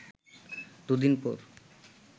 দুদিন পর